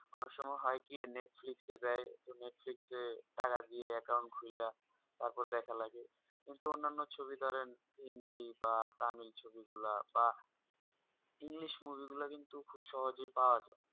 অনেক সময় হয় কি netflix এ দেয় তো netflix এ টাকা দিয়ে account খুলে তারপর দেখা লাগে কিন্তু অন্যান্য ছবি ধরেন হিন্দী বা তামিল ছবি গুলো বা english movie গুলা কিন্তু খুব সহজে পাওয়া যাই